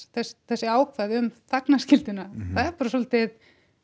þessi ákvæði um þagnarskylduna það er bara svolítið